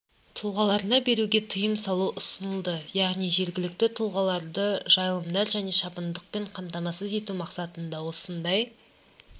тұлғаларына беруге тыйым салу ұсынылды яғни жергілікті тұрғындарды жайылымдар және шабындықпен қамтамасыз ету мақсатында осындай